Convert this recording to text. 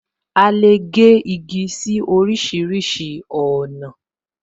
A lè gé igi sí orísìírísìí ọ̀nà